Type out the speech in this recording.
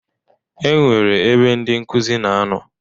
E nwere ebe ndị nkuzi na ano.